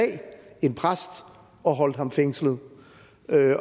en præst og holdt ham fængslet